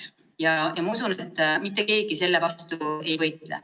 Ja ma usun, et mitte keegi selle vastu ei võitle.